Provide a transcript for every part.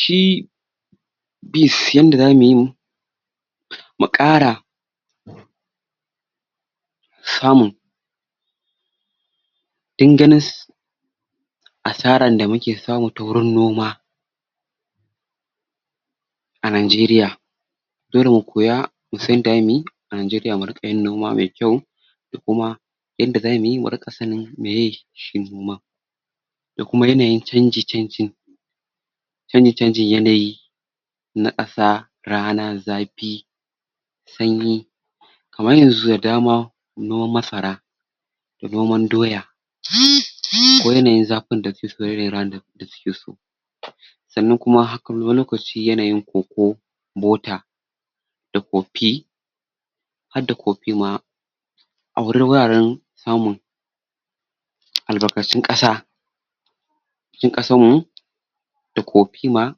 shi beans yanda zamuyi mu ƙara samun danganas asaran da muke samu ta wurin noma a najiriya irin kuya dole mu koya mu san yada muyi mu san yada za muyi a najiriya muriƙa yin noma me kyau nanjeriya mu riƙa yin noma me kyau da kuma inda zumuyi muriƙa sanin me shi noman da kuma yanayin canji canjin canji canjin yanayin na ƙasa rana zapi sanyi kaman yanzu da dama noman masara da noman doya ko yanayin zafin da yanayin da suke so sanan kuma haku yahayi koko butter da kopi hadda kopi ma a wu wuraren tamun al' barƙatun ƙasa cikin ƙasan mu da kopi ma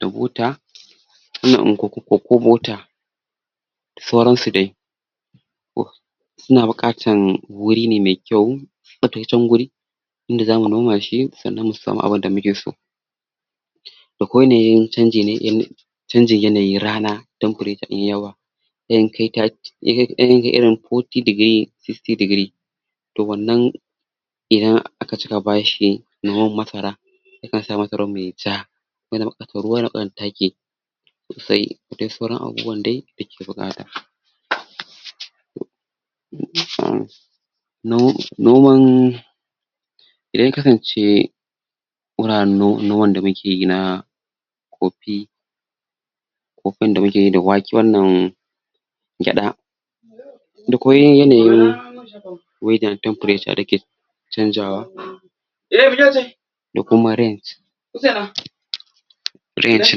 da buta ana in kokobuta da sauran su dai suna buƙatan wurine me kyau guri inda zamu noma shi sanan musamu abun da muke so akwai yanayin canji ne ko canjin yanayin rana temperature yayi yawa ya kan kai ta um yakan yakan kai irin fourty degress sixty degree to wannan idan aka cika bashi noman massra yakan sa masaran yayi ja yana buƙatan ruwa yana buƙatan taki sai duk sauran abubuuwan dai da ake buuƙata no noman idan ya kasance garare no, noman da muke yi na kopi kopin da mukeyi da wake wannan gyaɗa da kuma yi yanayin weather na temperature dake canjawa kuma range range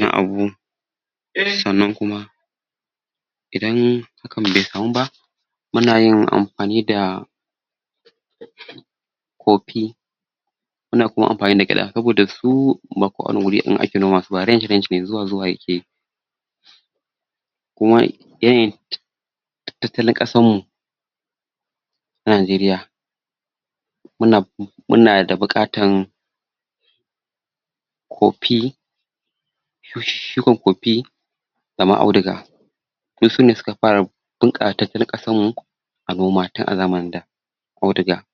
na abu sanan kuma idan ka be kamu ba muna yin anfani da kopi muna anfani da gyaɗa sabooda su ba ' kowani guri ake noma su ba saboda su range, range ne kuma yanayin ta tattalin ƙasrmu najeriya muna munada buƙatan kopi shu um shukan kopi dama auduga du sune suka fara bunƙa wa tattalin ƙasarmu a noma tun a zamanin da auduga